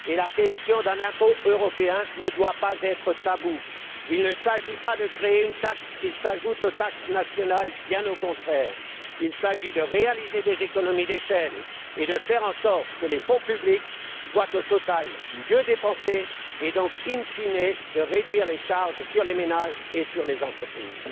Et la question d'un impôt européen ne doit pas être taboue. Il ne s'agit pas de créer une taxe qui s'ajoute aux taxes nationales, bien au contraire, il s'agit de réaliser des économies d'échelle et de faire en sorte que les fonds publics soient au total mieux dépensés et donc, institution fine, de réduire les charges sur les ménages et sur les entreprises.